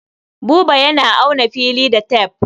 Buba yana auna fili da tef.